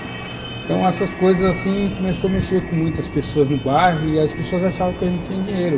Então, essas coisas assim, começou a mexer com muitas pessoas no bairro e as pessoas achavam que a gente tinha dinheiro.